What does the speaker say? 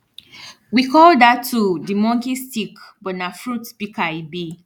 we call dat tool di monki stick but na fruit pika e bi